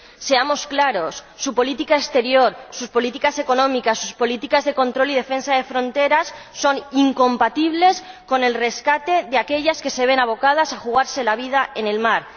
Seamos claros su política exterior, sus políticas económicas, sus políticas de control y defensa de las fronteras son incompatibles con el rescate de las personas que se ven abocadas a jugarse la vida en el mar.